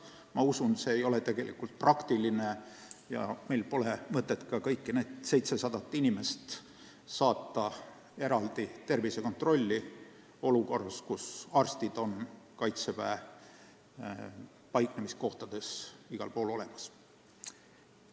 Ma usun, et ei ole kuigi praktiline ja sel pole ka mingit mõtet saata kõiki neid 700 inimest eraldi mujale tervisekontrolli olukorras, kus arstid on Kaitseväe paiknemiskohtades igal pool olemas.